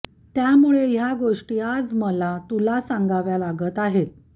त्यामुळे ह्या गोष्टी आज मला तुला सांगाव्या लागत आहेत